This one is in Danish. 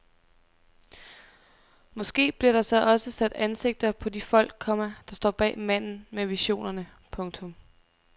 Måske bliver der så også sat ansigter på de folk, komma der står bag manden med visionerne. punktum